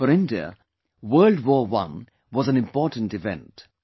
For India, World War I was an important event